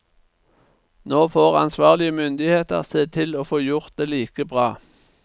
Nå får ansvarlige myndigheter se til å få gjort det like bra.